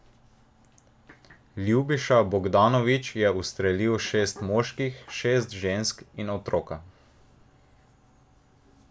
Ljubiša Bogdanović je ustrelil šest moških, šest žensk in otroka.